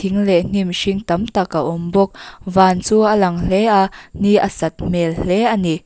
in leh hnim hring tam tak a awm bawk van chu a lang hle a ni a sat hmel hle a ni.